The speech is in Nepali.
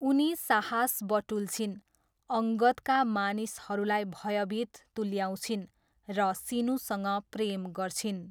उनी साहस बटुल्छिन्, अङ्गदका मानिसहरूलाई भयभित तुल्याउँछिन् र सिनुसँग प्रेम गर्छिन्।